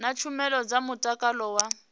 na tshumelo dza mutakalo wa